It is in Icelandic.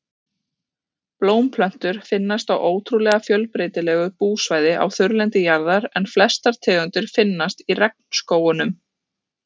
Blómplöntur finnast á ótrúlega fjölbreytilegu búsvæði á þurrlendi jarðar en flestar tegundir finnast í regnskógunum.